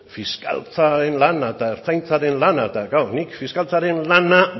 fiskaltzaren lana eta ertzaintzaren lana eta klaro nik fiskaltzaren lana